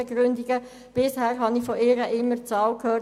Bisher habe ich von ihr immer folgende Zahl gehört: